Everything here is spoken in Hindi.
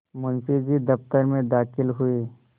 मुंशी जी दफ्तर में दाखिल हुए